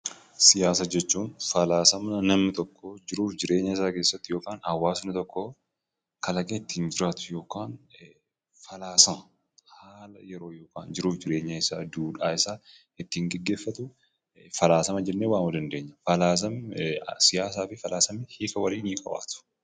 Siyaasa jechuun; falaasama namni tokko jiruf jireenya isaa keessatti hawaasni tokko kalaqe ittin jiraatu ykn falaasama haala yeroo jiruf jireenya isaa duudhaa isaa ittin geggeefatuu falaasama jenne waamuu dandeenyaa. Falaasamni siyaasafi falaasama hiikaa walii ni qabaatu.